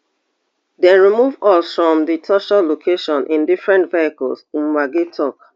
dem remove us from di torture location in different vehicles mwangi tok